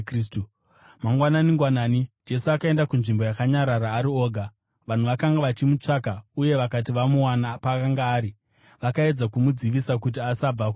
Mangwanani-ngwanani, Jesu akaenda kunzvimbo yakanyarara ari oga. Vanhu vakanga vachimutsvaka uye vakati vamuwana paakanga ari, vakaedza kumudzivisa kuti asabva kwavari.